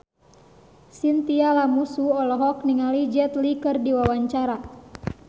Chintya Lamusu olohok ningali Jet Li keur diwawancara